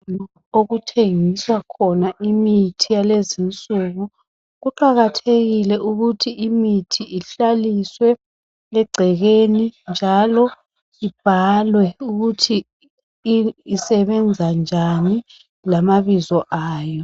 Okuthengiswa khona imithi yalezinsuku kuqakathekile ukuthi imuthi ihlaliswe egcekeni, njalo ibhalwe ukuthi isebenza njani lama bizo ayo.